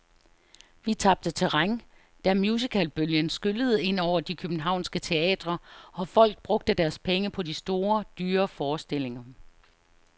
Vi tabte terræn, da musicalbølgen skyllede ind over de københavnske teatre, og folk brugte deres penge på de store, dyre forestillinger.